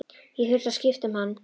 Ég þurfti að skipta um hann.